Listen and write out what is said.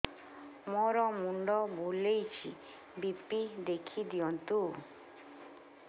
ମୋର ମୁଣ୍ଡ ବୁଲେଛି ବି.ପି ଦେଖି ଦିଅନ୍ତୁ